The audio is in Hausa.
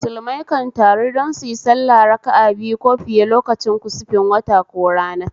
Musulmai kan taru don suyi sallah raka'a biyu ko fiye lokacin kusufin wata ko rana